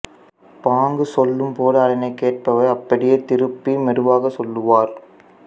பாங்கு சொல்லும் போது அதனைக் கேட்பவர் அப்படியே திருப்பி மெதுவாக சொல்லுவார்